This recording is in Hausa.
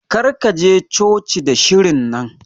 Kar ka je coci da shirin nan.